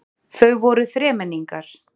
Þau voru þremenningar.